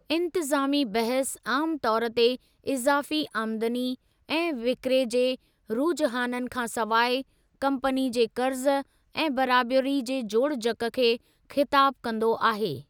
इन्तिज़ामी बहसु आमु तौर ते इज़ाफ़ी आमदनी ऐं विकिरे जे रुजहाननि खां सवाइ, कम्पनी जे क़र्ज़ु ऐं बराबरी जे जोड़जक खे ख़िताबु कंदो आहे।